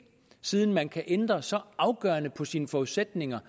siden man kan ændre så afgørende på sine forudsætninger